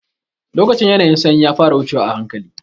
Lokacin ƴanayin sanyi ya fara wucewa ahanƙali.